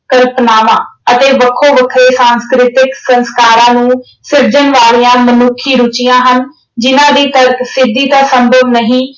ਕਲਪਨਾਵਾਂ ਅਤੇ ਵੱਖੋ ਵੱਖਰੇ ਸੰਸਕ੍ਰਿਤਿਕ ਸੰਸਕਾਰਾਂ ਨੂੰ ਸਿਰਜਣ ਵਾਲੀਆਂ ਮਨੁੱਖੀ ਰੁੱਚੀਆਂ ਹਨ ਜਿਨ੍ਹਾਂ ਦੀ ਤਰਕ ਸਿੱਧੀ ਤਾਂ ਸੰਭਵ ਨਹੀਂ।